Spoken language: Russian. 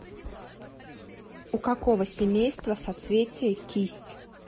у какого семейства соцветие кисть